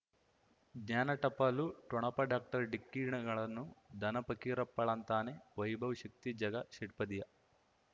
ಜ್ಞಾನ ಟಪಾಲು ಠೊಣಪ ಡಾಕ್ಟರ್ ಢಿಕ್ಕಿ ಣಗಳನು ಧನ ಫಕೀರಪ್ಪ ಳಂತಾನೆ ವೈಭವ್ ಶಕ್ತಿ ಝಗಾ ಷಟ್ಪದಿಯ